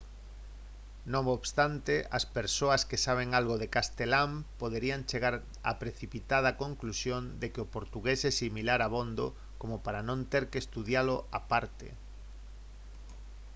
non obstante as persoas que saben algo de castelán poderían chegar á precipitada conclusión de que o portugués é similar abondo como para non ter que estudalo á parte